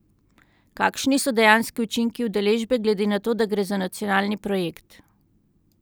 Kakšni so dejanski učinki udeležbe glede na to, da gre za nacionalni projekt?